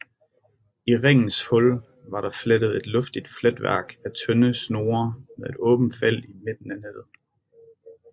I ringens hul var der flettet et luftigt fletværk af tynde snore med et åbnet felt i midten af nettet